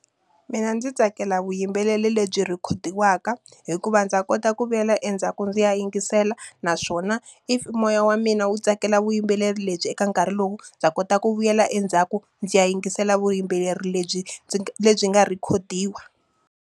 Mina ndzi tsakela vuyimbeleri lebyi rhikhodiwaka, hikuva ndza kota ku vela endzhaku ndzi ya yingisela. Naswona if moya wa mina wu tsakela vuyimbeleri lebyi eka nkarhi lowu, nga kota ku vuyela endzhaku ndzi ya yingisela vuyimbeleri lebyi lebyi nga rhikhodiwa.